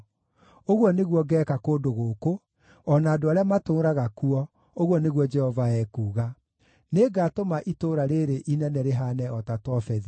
Ũguo nĩguo ngeeka kũndũ gũkũ, o na andũ arĩa matũũraga kuo, ũguo nĩguo Jehova ekuuga. Nĩngatũma itũũra rĩĩrĩ inene rĩhaane o ta Tofethi.